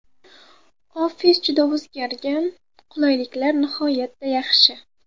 Ofis juda o‘zgargan, qulayliklar nihoyatda yaxshi.